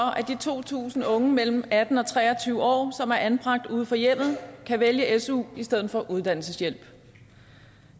to tusind unge mellem atten og tre og tyve år som er anbragt uden for hjemmet kan vælge su i stedet for uddannelseshjælp